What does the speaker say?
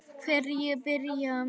Hverjir byrja?